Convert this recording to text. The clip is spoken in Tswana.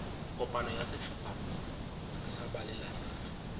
kopano ya setlhopha sa balelapa